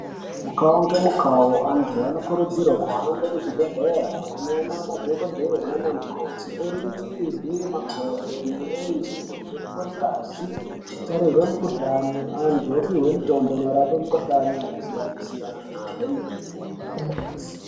Mukavo ngemukavo antu anokurudzirwe kuhambe kuzvibhedhlera kunoona madhogodheya nanamukoti oringirwe makodo, mirenje nekuvhenekwe ngazi. Nekutarirwe mukuhlani antu opihwe mitombo inorape mikuhlani yakasiyana-siyana kwemene.